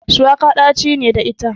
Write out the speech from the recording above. Shuwaka ɗaci ne da ita.